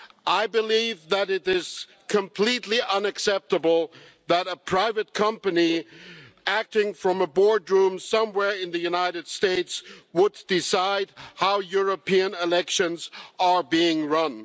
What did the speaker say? I believe that it is completely unacceptable that a private company acting from a boardroom somewhere in the United States would decide how European elections are being run.